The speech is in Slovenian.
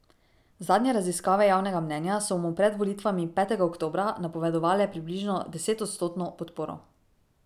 Zadnje raziskave javnega mnenja so mu pred volitvami petega oktobra napovedovale približno desetodstotno podporo.